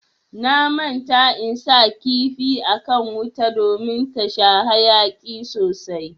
Na manta in sa kifi akan wuta ɗomin ta sha hayaki sosai.